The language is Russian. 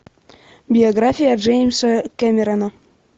биография джеймса кэмерона